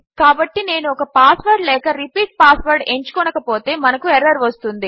కాబట్టి నేను ఒక పాస్వర్డ్ లేక రిపీట్ పాస్వర్డ్ ఎంచుకొనకపోతే మనకు ఎర్రర్ వస్తుంది